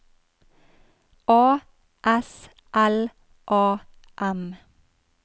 A S L A M